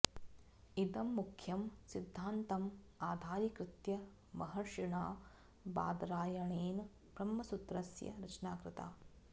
इदं मुख्यं सिद्धान्तम् आधारीकृत्य महर्षिणा बादरायणेन ब्रह्मसूत्रस्य रचना कृता